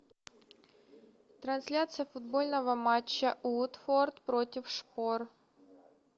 трансляция футбольного матча уотфорд против шпор